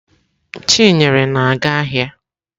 Chinyere na-aga ahịa.